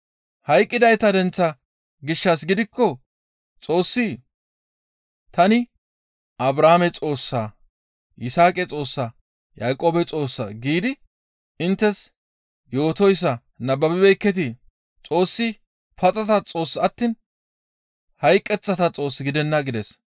Hayqqidayta denththa gishshas gidikko Xoossi, ‹Tani Abrahaame Xoossa, Yisaaqa Xoossa, Yaaqoobe Xoossa› giidi inttes yootoyssa nababibeekketii? Xoossi paxata Xoossa attiin hayqeththata Xoos gidenna» gides.